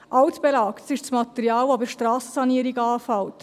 Altbelag ist das Material, das bei Strassensanierungen anfällt.